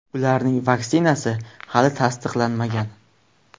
Ularning vaksinasi hali tasdiqlanmagan.